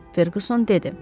Ferqüson dedi.